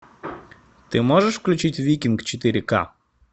ты можешь включить викинг четыре к